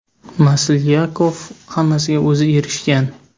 Maslyakov hammasiga o‘zi erishgan.